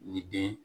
Ni den